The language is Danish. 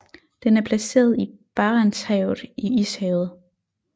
Den er placeret i Barentshavet i Ishavet